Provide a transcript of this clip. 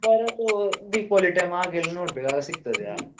Offer ಅದು Deepavali time ಹಾಗೆಲ್ಲ ನೋಡ್ಬೇಕು ಆಗ ಸಿಗ್ತದೆ ಹಾಗೆ.